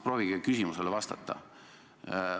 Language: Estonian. Proovige küsimusele vastata.